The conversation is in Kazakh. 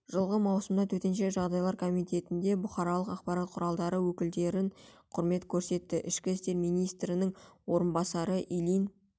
жылғы маусымда төтенше жағдайлар комитетінде бұқаралық ақпарат құралдары өкілдерін құрмет көрсетті ішкі істер министрінің орынбасары ильин